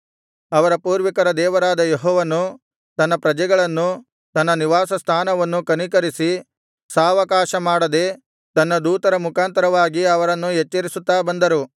ಅವರ ಪೂರ್ವಿಕರ ದೇವರಾದ ಯೆಹೋವನು ತನ್ನ ಪ್ರಜೆಗಳನ್ನು ತನ್ನ ನಿವಾಸಸ್ಥಾನವನ್ನೂ ಕನಿಕರಿಸಿ ಸಾವಕಾಶ ಮಾಡದೆ ತನ್ನ ದೂತರ ಮುಖಾಂತರವಾಗಿ ಅವರನ್ನು ಎಚ್ಚರಿಸುತ್ತಾ ಬಂದರು